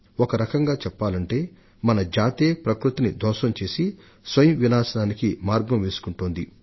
ఒక రకంగా చెప్పాలంటే మానవ జాతే ప్రకృతిని ధ్వంసం చేయడం ద్వారా స్వీయ విధ్వంసానికి బాట వేసింది